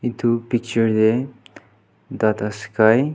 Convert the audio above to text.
etu picture teh tata sky--